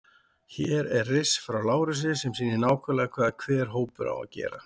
Hér er riss frá Lárusi sem sýnir nákvæmlega hvað hver hópur á að gera.